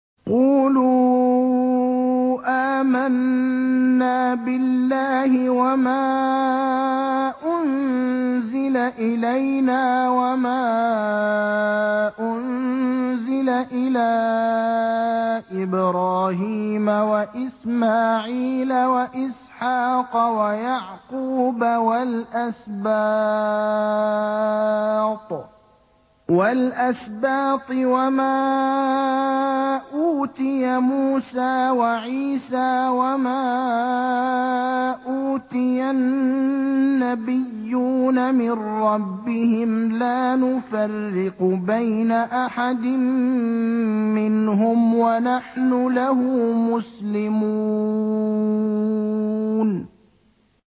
قُولُوا آمَنَّا بِاللَّهِ وَمَا أُنزِلَ إِلَيْنَا وَمَا أُنزِلَ إِلَىٰ إِبْرَاهِيمَ وَإِسْمَاعِيلَ وَإِسْحَاقَ وَيَعْقُوبَ وَالْأَسْبَاطِ وَمَا أُوتِيَ مُوسَىٰ وَعِيسَىٰ وَمَا أُوتِيَ النَّبِيُّونَ مِن رَّبِّهِمْ لَا نُفَرِّقُ بَيْنَ أَحَدٍ مِّنْهُمْ وَنَحْنُ لَهُ مُسْلِمُونَ